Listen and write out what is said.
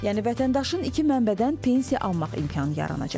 Yəni vətəndaşın iki mənbədən pensiya almaq imkanı yaranacaq.